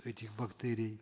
этих бактерий